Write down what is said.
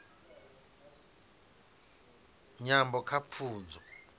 nyambo kha pfunzo